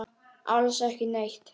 Alls ekki neitt.